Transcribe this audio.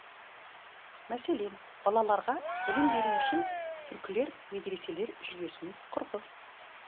мәселен балаларға білім беру үшін түркілер медреселер жүйесін құрды